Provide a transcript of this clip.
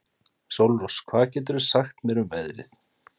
Sólrós, hvað geturðu sagt mér um veðrið?